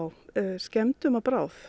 skemmdum að bráð